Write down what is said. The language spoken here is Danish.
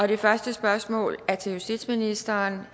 det første spørgsmål er til justitsministeren